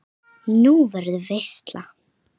Nú, verður veisla?